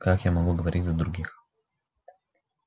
как я могу говорить за других